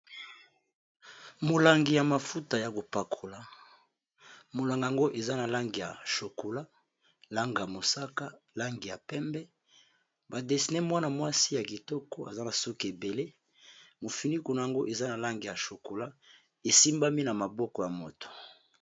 Molangi ya mafuta ya ko pakola molangi yango eza na langi ya chokula langi ya mosaka langi ya pembe ba desine mwana-mwasi ya kitoko aza na suki ebele mofiniko na yango eza na langi ya chokula esimbami na maboko ya moto.